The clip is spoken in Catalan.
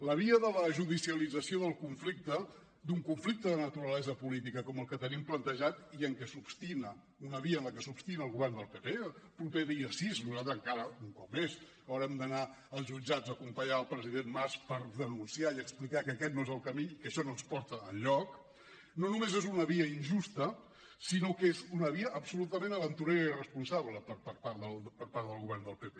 la via de la judicialització del conflicte d’un conflicte de naturalesa política com el que tenim plantejat i en què s’obstina una via en la que s’obstina el govern del pp el proper dia sis nosaltres encara un cop més haurem d’anar als jutjats a acompanyar el president mas per denunciar i explicar que aquest no és el camí i que això no ens porta enlloc no només és una via injusta sinó que és una via absolutament aventurera i irresponsable per part del govern del pp